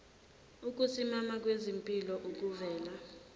ukusimama kwezimpilo kuvela